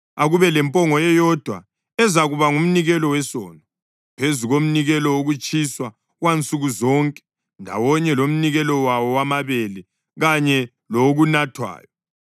Akube lempongo eyodwa ezakuba ngumnikelo wesono, phezu komnikelo wokutshiswa wansuku zonke ndawonye lomnikelo wawo wamabele kanye lowokunathwayo.